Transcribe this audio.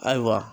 Ayiwa